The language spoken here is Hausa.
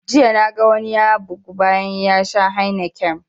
Jiya na ga wani ya bugu bayan ya sha heineken